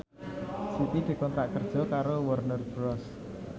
Siti dikontrak kerja karo Warner Bros